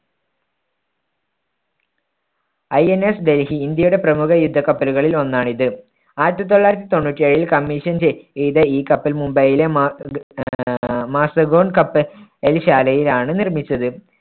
INS Delhi ഇന്ത്യയുടെ പ്രമുഖ യുദ്ധക്കപ്പലുകളിൽ ഒന്നാണിത്. ആയിരത്തി തൊള്ളായിരത്തി തൊണ്ണൂറ്റി ഏഴിൽ commission ചെയ്ത ഈ കപ്പൽ മുംബൈയിലെ മാ മാസഗോൺ കപ്പൽ ശാലയിലാണ് നിർമ്മിച്ചത്.